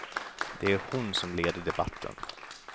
Det är hon som leder debatten.